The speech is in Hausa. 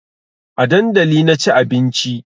A dandali na ci abinci